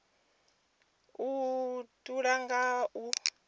u hatula nga u vha